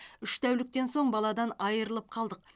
үш тәуліктен соң баладан айырылып қалдық